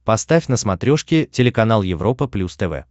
поставь на смотрешке телеканал европа плюс тв